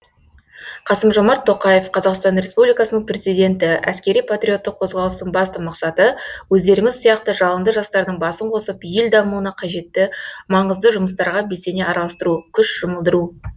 қасым жомарт тоқаев қазақстан республикасының президенті әскери патриоттық қозғалыстың басты мақсаты өздеріңіз сияқты жалынды жастардың басын қосып ел дамуына қажетті маңызды жұмыстарға белсене араластыру күш жұмылдыру